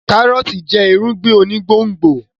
kárọ́ọ̀tì jẹ́ irúgbìn onígbòǹgbò